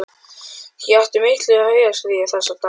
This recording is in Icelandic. Ég átti í miklu hugarstríði þessa dagana.